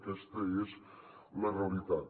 aquesta és la realitat